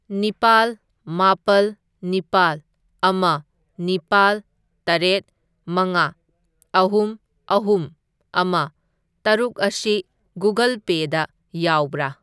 ꯅꯤꯄꯥꯜ ꯃꯥꯄꯜ ꯅꯤꯄꯥꯜ ꯑꯃ ꯅꯤꯄꯥꯜ ꯇꯔꯦꯠ ꯃꯉꯥ ꯑꯍꯨꯝ ꯑꯍꯨꯝ ꯑꯃ ꯇꯔꯨꯛ ꯑꯁꯤ ꯒꯨꯒꯜ ꯄꯦꯗ ꯌꯥꯎꯕ꯭ꯔꯥ?